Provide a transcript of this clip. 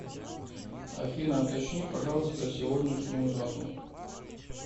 афина уточни пожалуйста сегодняшнюю дату